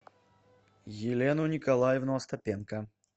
елену николаевну остапенко